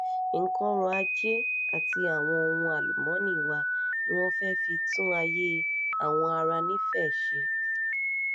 nǹkan ọrọ̀ ajé àti àwọn ohun àlùmọ́ọ́nì wa ni wọ́n fẹ́ẹ́ fi tún ayé àwọn ará nífẹ̀ẹ́ ṣe